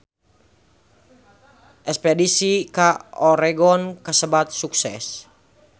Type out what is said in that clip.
Espedisi ka Oregon kasebat sukses